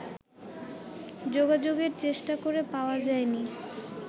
যোগাযোগের চেষ্টা করে পাওয়া যায়নি